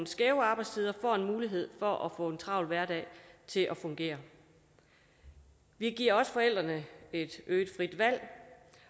skæve arbejdstider får mulighed for at få en travl hverdag til at fungere vi giver også forældrene et øget frit valg